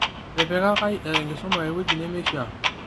Etipikakai enkisuma ewueji nemeishaa,